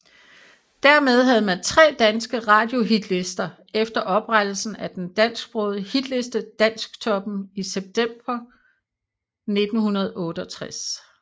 Dermed havde man tre danske radiohitlister efter oprettelsen af den dansksprogede hitliste Dansktoppen i september 1968